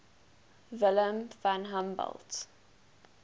wilhelm von humboldt